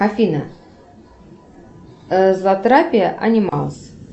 афина затрапия анималс